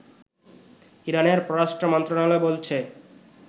ইরানের পররাষ্ট্র মন্ত্রণালয় বলছে